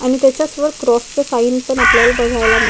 आणि त्याच्याच वर क्रॉस च साइन पण आपल्याला बघायला मी--